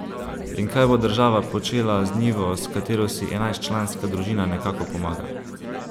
In kaj bo država počela z njivo, s katero si enajstčlanska družina nekako pomaga?